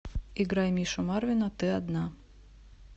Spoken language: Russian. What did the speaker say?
играй мишу марвина ты одна